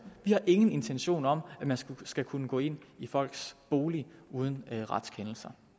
vi har ingen intention om at man skal kunne gå ind i folks boliger uden en retskendelse